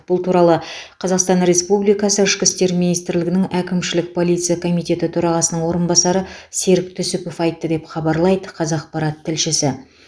бұл туралы қазақстан республикасы ішкі істер министрлігінінің әкімшілік полиция комитеті төрағасының орынбасары серік түсіпов айтты деп хабарлайды қазақпарат тілшісі